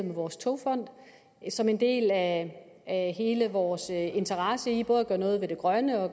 vores togfond som en del af hele vores interesse i både at gøre noget ved det grønne